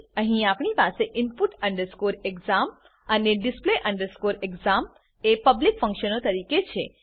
અહીં આપણી પાસે input exam અને display exam એ પબ્લિક ફંક્શનો તરીકે છે